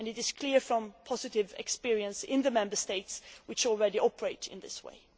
This is clear from the positive experience of the Member States which already operate in this way.